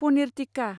paneer tikka